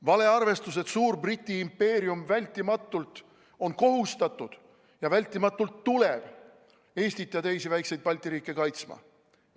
Valearvestus, et suur Briti impeerium on kohustatud seda tegema ja kindlasti tuleb Eestit ja teisi väikseid Balti riike kaitsma.